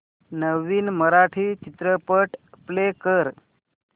नवीन मराठी चित्रपट प्ले कर